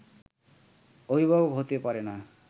অভিভাবক হতে পারেনা